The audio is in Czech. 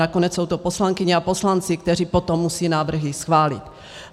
Nakonec jsou to poslankyně a poslanci, kteří potom musejí návrhy schválit.